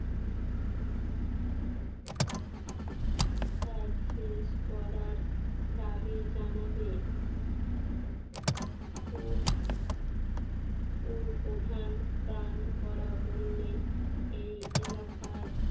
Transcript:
কাজ শেষ করার দাবি জানাবে প্রধান প্রাণ করা বললে এই এলাকার